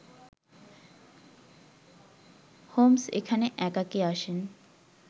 Holmes এখানে একাকী আসেন